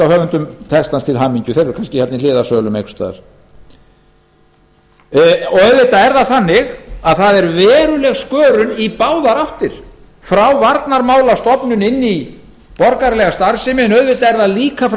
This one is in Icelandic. höfundum textans til hamingju þeir eru kannski í hliðarsölum hér einhvers staðar auðvitað er veruleg skörun í báðar áttir frá varnarmálastofnun inn í borgaralega starfsemi og frá